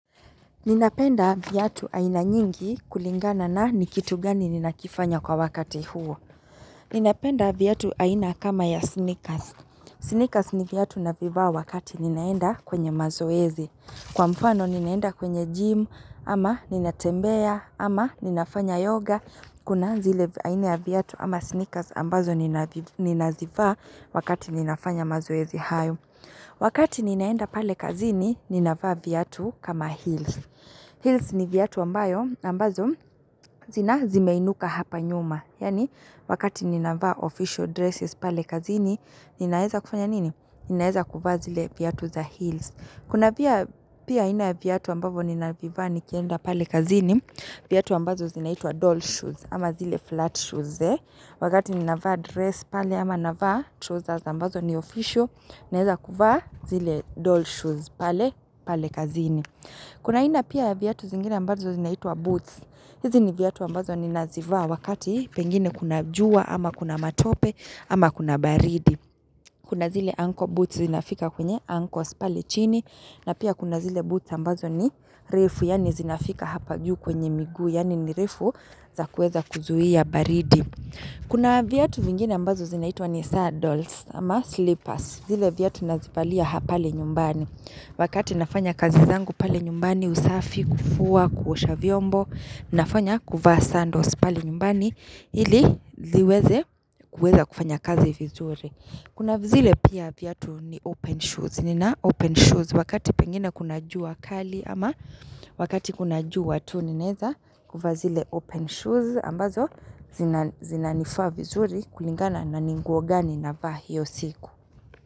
Ninapenda viatu aina nyingi kulingana na ni kitu gani ninakifanya kwa wakati huo. Ninapenda viatu aina kama ya sneakers. Sneakers ni viatu navivaa wakati ninaenda kwenye mazoezi. Kwa mfano ninaenda kwenye gym, ama ninatembea, ama ninafanya yoga. Kuna zile aina viatu ama sneakers ambazo ninazivaa wakati ninafanya mazoezi hayo. Wakati ninaenda pale kazini, ninavaa viatu kama heels. Heels ni viatu ambayo ambazo zina zimeinuka hapa nyuma. Yaani wakati ninavaa official dresses pale kazini, ninaeza kufanya nini? Ninaweza kuvaa zile viatu za heels. Kuna pia pia aina ya viatu ambavyo ninavivaa nikienda pale kazini, viatu ambazo zinaitwa doll shoes ama zile flat shoes, eh. Wakati ninavaa dress pale ama navaa trousers ambazo ni official, ninaeza kuvaa zile doll shoes pale pale kazini. Kuna aina pia viatu zingine ambazo zinaitwa boots hizi ni viatu ambazo ni nazivaa wakati pengine kuna jua ama kuna matope ama kuna baridi Kuna zile ankle boots zinafika kwenye ankles pale chini na pia kuna zile boots ambazo ni refu yaani zinafika hapa juu kwenye migu Yani ni refu za kuweza kuzuia baridi Kuna viatu vingine ambazo zinaitwa ni saddles ama slippers zile viatu nazivalia hapale nyumbani Wakati nafanya kazi zangu pale nyumbani usafi, kufua, kuosha vyombo, nafanya kuva sandos pale nyumbani ili ziweze kufanya kazi vizuri. Kuna vizuri pia viatu ni open shoes. Nina open shoes wakati pengine kuna jua kali ama wakati kuna jua tu ninaeza kuvaa zile open shoes ambazo zinan zinanifaa vizuri kulingana na ni nguo gani navaa hio siku.